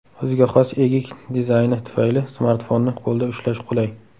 O‘ziga xos egik dizayni tufayli smartfonni qo‘lda ushlash qulay.